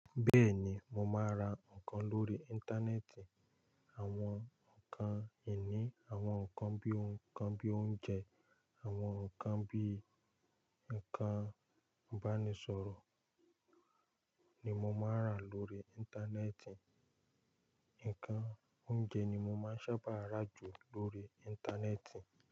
Bẹ́ẹ̀ni, mo máa ra nǹkan lórí Íńtánẹ́ẹ̀tì. Àwọn nǹkan ìní, àwọn nǹkan bí i nǹkan bí i oúnjẹ, àwọn nǹkan bí i nǹkan ìbánisọ̀rọ̀ ni mo máa ń rà lórí Íńtánẹ́ẹ̀tì. Ǹkan oúnjẹ ni mo máa ń sábà rà jù lórí Íńtánẹ́ẹ̀tì.